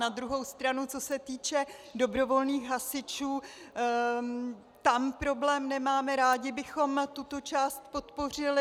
Na druhou stranu, co se týče dobrovolných hasičů, tam problém nemáme, rádi bychom tuto část podpořili.